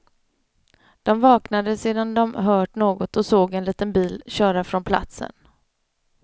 De vaknade sedan de hört något och såg en liten bil köra från platsen.